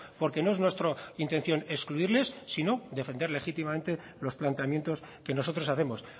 porque no es nuestra intención excluirles sino defender legítimamente los planteamientos que nosotros hacemos